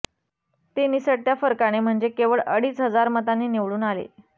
ते निसटत्या फरकाने म्हणजे केवळ अडीच हजार मतांनी निवडून आले